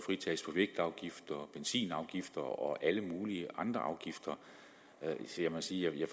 skulle vægtafgift benzinafgifter og alle mulige andre afgifter jeg må sige at